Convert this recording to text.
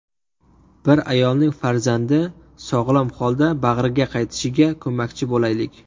Bir ayolning farzandi sog‘lom holda bag‘riga qaytishiga ko‘makchi bo‘laylik.